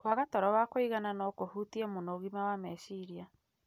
Kwaga toro wa kũigana no kũhutie mũno ũgima wa meciria.